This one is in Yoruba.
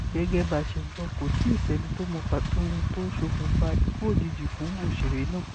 gẹ́gẹ́ bá a ṣe gbọ́ kò tíì sẹ́ni tó mọ pàtó ohun tó ṣokùnfà ikú òjijì fún òṣèré náà